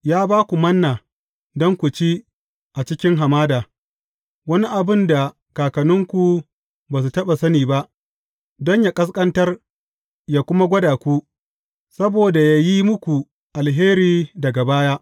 Ya ba ku Manna don ku ci a cikin hamada, wani abin da kakanninku ba su taɓa sani ba, don yă ƙasƙantar yă kuma gwada ku, saboda yă yi muku alheri daga baya.